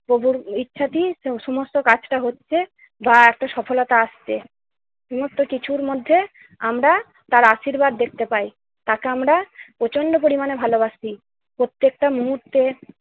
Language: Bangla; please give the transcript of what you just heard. প্রভুর ইচ্ছাতেই সোম~ সমস্ত কাজটা হচ্ছে বা একটা সফলতা আসছে। নিত্য কিছুর মধ্যে আমরা তার আশীর্বাদ দেখতে পাই। তাকে আমরা প্রচন্ড পরিমাণে ভালোবাসি। প্রত্যেকটা মুহূর্তে